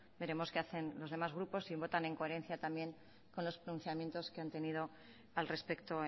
veremos qué hacen los demás grupos si votan en coherencia también con los pronunciamientos que han tenido al respecto